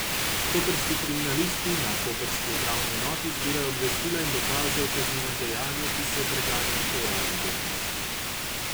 Koprski kriminalisti na koprski upravni enoti zbirajo obvestila in dokaze o kaznivem dejanju, ki se preganja po uradni dolžnosti.